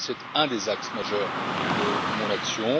C'est un des axes majeurs de mon action.